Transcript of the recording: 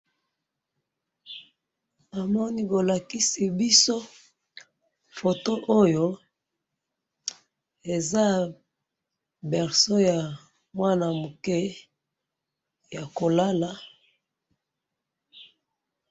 Namoni bolakisi biso photo oyo, eza berceau ya mwana muke, ya kolala.